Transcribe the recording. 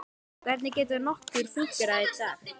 Hvernig getur nokkur fúnkerað í dag?